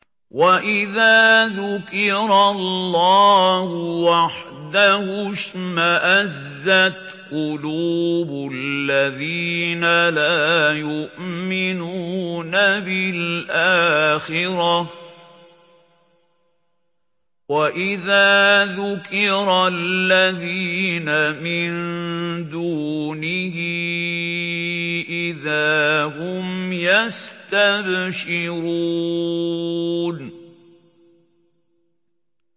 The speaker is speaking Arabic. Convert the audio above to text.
وَإِذَا ذُكِرَ اللَّهُ وَحْدَهُ اشْمَأَزَّتْ قُلُوبُ الَّذِينَ لَا يُؤْمِنُونَ بِالْآخِرَةِ ۖ وَإِذَا ذُكِرَ الَّذِينَ مِن دُونِهِ إِذَا هُمْ يَسْتَبْشِرُونَ